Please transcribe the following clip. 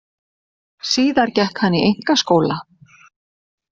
Síðar gekk hann í einkaskóla.